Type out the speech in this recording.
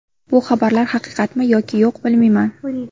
Bu xabarlar haqiqatmi yoki yo‘q, bilmayman.